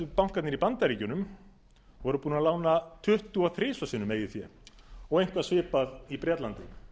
bankarnir í bandaríkjunum voru búnir að lána tuttugu og þrjú sinnum eigið fé og eitthvað svipað í bretlandi